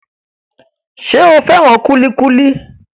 Ṣé o fẹ́ràn kúlíkúlí?